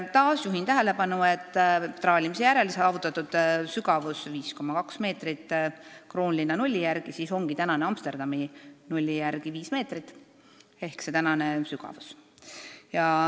Taas juhin tähelepanu, et traalimise järel saavutatud sügavus, 5,2 meetrit Kroonlinna nulli järgi, ongi Amsterdami nulli järgi 5 meetrit ehk praegune sügavus.